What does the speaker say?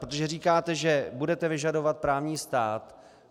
Protože říkáte, že budete vyžadovat právní stát.